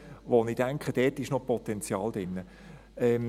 Ich denke, dort ist noch Potenzial drin.